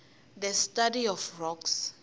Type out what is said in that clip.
the study of rocks